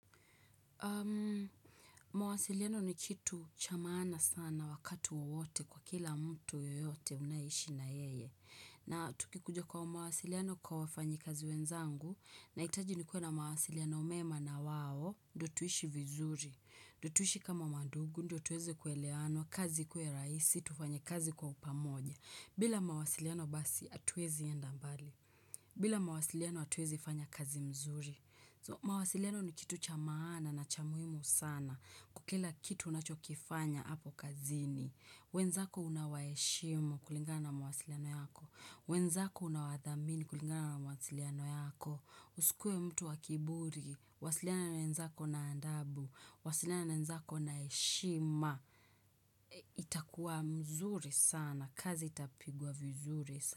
Mawasiliano ni kitu cha maana sana wakati wowote kwa kila mtu yeyote unayeishi na yeye. Na tukikuja kwa mawasiliano kwa wafanyi kazi wenzangu, nahitaji nikue na mawasiliano mema na wao, ndio tuishi vizuri. Ndio tuishi kama mandugu, ndio tuweze kuelewana, kazi ikue rahisi, tufanye kazi kwa upamoja. Bila mawasiliano basi, hatuwezi enda mbali. Bila mawasiliano hatuwezi fanya kazi mzuri. Mawasiliano ni kitu cha maana na cha muhimu sana. Kwa kila kitu unachokifanya hapo kazini. Wenzako unawaheshimu kulingana na mawasiliano yako. Wenzako unawadhamini kulingana na mawasiliano yako. Usikue mtu wa kiburi. Wasiliana na wenzako na adabu. Wasiliana na wenzako na heshima. Itakuwa mzuri sana. Kazi itapigwa vizuri sana.